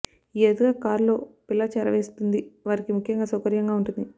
ఈ అరుదుగా కారులో పిల్ల చేరవేస్తుంది వారికి ముఖ్యంగా సౌకర్యంగా ఉంటుంది